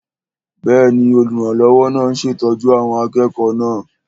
Bẹ́ẹ̀ni, olùrànlọ́wọ́ náà ń ṣètọ́jú àwọn akẹ́kọ̀ọ́ náà